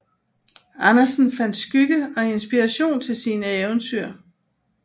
Andersen fandt skygge og inspiration til sine eventyr